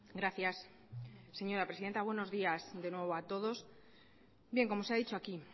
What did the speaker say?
gracias señora presidenta buenos días de nuevo a todos bien como se ha dicho aquí